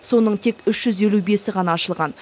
соның тек үш жүз елу бесі ғана ашылған